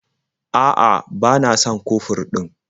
A'a, ba na son kofur ɗin.